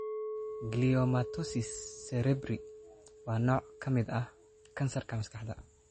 Gliomatosis cerebri waa nooc ka mid ah kansarka maskaxda.